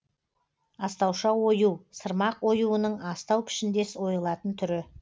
астауша ою сырмақ оюының астау пішіндес ойылатын түрі